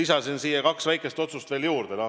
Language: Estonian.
Ja tõin kaks väikest otsust veel juurde.